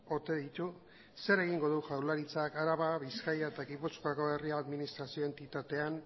ote ditu zer egingo du jaurlaritzak araba bizkaia eta gipuzkoako herri administrazio entitatean